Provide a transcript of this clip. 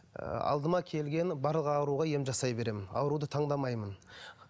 алдыма келген барлық ауруға ем жасай беремін ауруды таңдамаймын